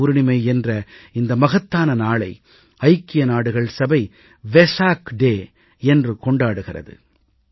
புத்த பூர்ணிமை என்ற இந்த மகத்தான நாளை ஐக்கிய நாடுகள் சபை விசக் தினம் என்று கொண்டாடுகிறது